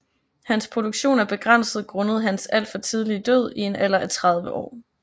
Hans produktion er begrænset grundet hans alt for tidlige død i en alder af 30 år